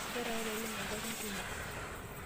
Keeta papailenye ngarin kumok.